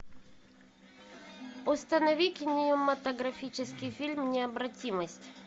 установи кинематографический фильм необратимость